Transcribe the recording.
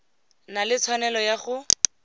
na le tshwanelo ya go